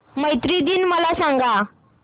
मैत्री दिन मला सांगा